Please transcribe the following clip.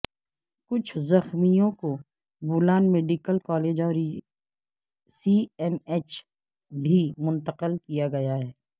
کچھ زخمیوں کو بولان میڈیکل کالج اور سی ایم ایچ بھی منتقل کیا گیا ہے